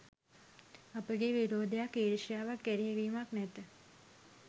අපගේ විරෝධයක්, ඊර්ෂ්‍යාවක්, එරෙහිවීමක් නැත.